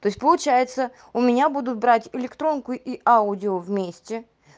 то есть получается у меня будут брать электронку и аудио вместе